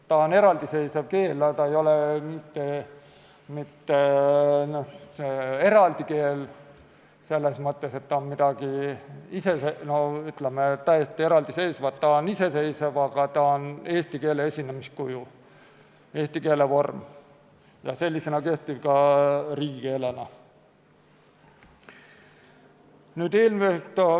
Ta on eraldiseisev keel, aga ta ei ole mitte eraldi keel selles mõttes, et ta on midagi täiesti eraldiseisvat, ta on iseseisev, aga ta on eesti keele esinemiskuju, eesti keele vorm ja sellisena kehtiv ka riigikeelena.